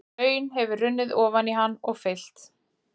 Hraun hefur runnið ofan í hann og fyllt.